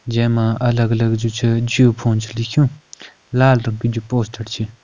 जै मा अलग अलग जु छ जिओ फ़ोन छ लिख्युं लाल रंग की जु पोस्टर छ।